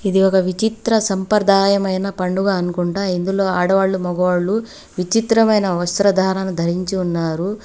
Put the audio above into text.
ఇది ఒక విచిత్ర సంప్రదాయమైన పండుగ అనుకుంటా ఇందులో ఆడవాళ్లు మగవాళ్ళు విచిత్రమైన వస్త్రధారణ ధరించి ఉన్నారు.